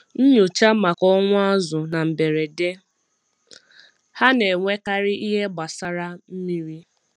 Nyochaa maka ọnwụ azụ̀ na mberede—ha na-enwekarị ihe gbasara mmiri.